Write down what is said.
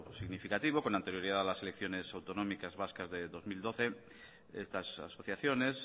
significativo con anterioridad a las elecciones autonómicas vascas de dos mil doce estas asociaciones